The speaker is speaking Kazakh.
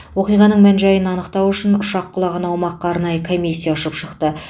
оқиғаның мән жайын анықтау үшін ұшақ құлаған аумаққа арнайы комиссия ұшып шықты